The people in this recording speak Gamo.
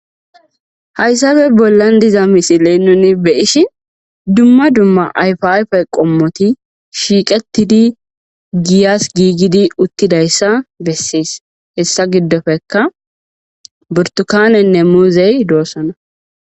Hayssafe bollan diza misile nuni be ish dumma dumma ayfiayfe qommoti shiiqettidi giyas giigidi uttidayssa bessiis hessa giddofeka burtukanenne muuzey doossana.